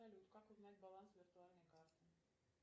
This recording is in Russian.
салют как узнать баланс виртуальной карты